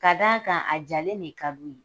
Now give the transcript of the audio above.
Ka d'a kan a jalen de ka di u ye